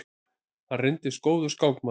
Hann reyndist góður skákmaður.